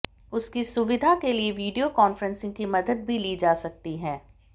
उसकी सुविधा के लिए वीडियो कान्फ्रेंसिंग की मदद भी ली जा सकती है